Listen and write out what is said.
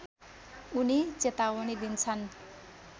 उनी चेवावनी दिन्छन्